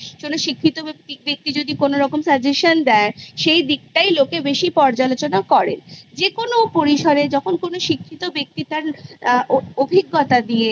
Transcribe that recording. কোনো শিক্ষিত ব্যক্তি যদি কোনোরকম Suggestion দেয় সেই দিকটাই লোকে বেশি পর্যালোচনা করে যেকোনো পরিসরে যখন কোনো শিক্ষিত ব্যক্তি তার আ অভি অভিজ্ঞতা দিয়ে